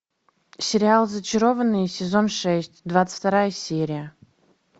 сериал зачарованные сезон шесть двадцать вторая серия